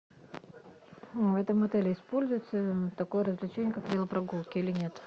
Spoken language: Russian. в этом отеле используется такое развлечение как велопрогулки или нет